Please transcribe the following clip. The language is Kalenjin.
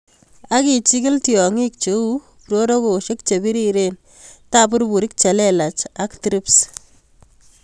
Ak ichikil tiong'ik cheu prorokosiek chebiriren, tabururik chelelach ak Thrips.